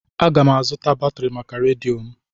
Aga m azụta batrị maka redio m.